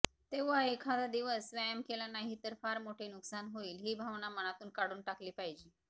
तेव्हा एखादादिवस व्यायाम केला नाही तर फार मोठे नुकसान होईल ही भावना मनातून काढली पाहिजे